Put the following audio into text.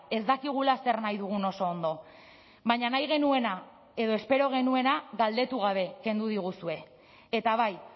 ez dakigula zer nahi dugun oso ondo baina nahi genuena edo espero genuena galdetu gabe kendu diguzue eta bai